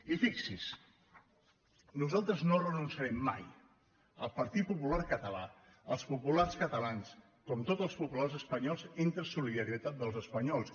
i fixi·s’hi nosaltres no renunciarem mai el partit popular català els populars catalans com tots els po·pulars espanyols a la solidaritat entre els espanyols